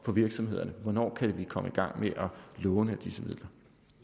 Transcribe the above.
for virksomhederne hvornår kan de komme i gang med at låne af disse midler